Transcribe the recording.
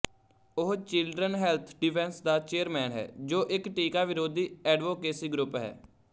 ਉਹ children health defense ਦਾ chairman ਹੈ ਜੋ ਇੱਕ ਟੀਕਾ ਵਿਰੋਧੀ ਐਡਵੋਕੇਸੀ ਗਰੁੱਪ ਹੈ